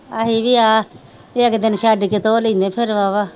ਅਸੀਂ ਵੀ ਆ ਇੱਕ ਦਿਨ ਛੱਡ ਕੇ ਧੋ ਲੈਨੇ ਫਿਰ ਬਾਵਾ